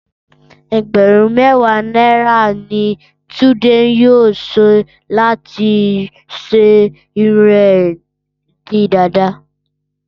Ẹgbẹ̀rún mẹ́wàá náírà ní Túndé yóò san láti sọ irun rẹ̀ di dàda